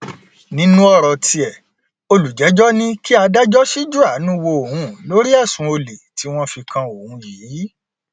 nínú ọrọ tiẹ olùjẹjọ ní kí adájọ ṣíjú àánú wo òun lórí ẹsùn olè tí wọn fi kan òun yìí